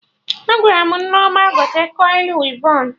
Agwaram Nneoma gote kọili wivon